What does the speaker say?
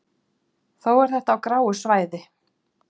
Þó er þetta á gráu svæði.